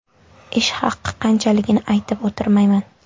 Ish haqi qanchaligini aytib o‘tirmayman.